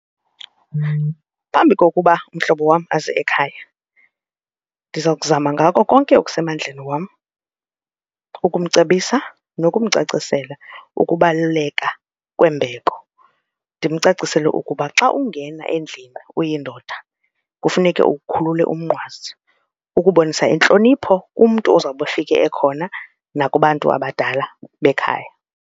Phambi kokuba umhlobo wam aze ekhaya, ndiza kuzama ngako konke okusemandleni wam ukumcebisa nokumcacisela kokubaluleka kwembeko. Ndimcacisele ukuba xa ungena endlini uyindoda kufuneke ukhulule umnqwazi ukubonisa intlonipho kumntu ozawube ufike ekhona nakubantu abadala bekhaya.